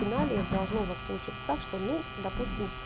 в финале должно вас получится так что ну допустим